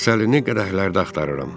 Təsəllini qədəhlərdə axtarıram.